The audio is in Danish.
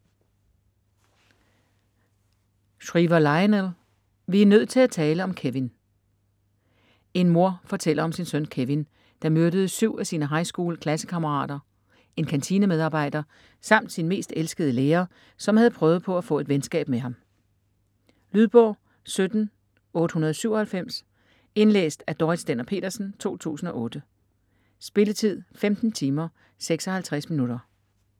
Shriver, Lionel: Vi er nødt til at tale om Kevin En mor fortæller om sin søn Kevin, der myrdede syv af sine highschool-klassekammerater, en kantinemedarbejder samt sin mest elskede lærer, som havde prøvet på at få et venskab med ham. Lydbog 17897 Indlæst af Dorrit Stender-Petersen, 2008. Spilletid: 15 timer, 56 minutter.